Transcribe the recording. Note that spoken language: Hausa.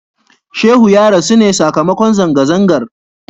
Shehu ya rasu ne sakamakon zanga-zangar.